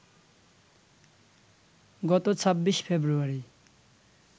গত ২৬ ফেব্রুয়ারি